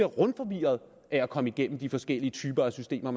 rundforvirrede af at komme igennem de forskellige typer af systemer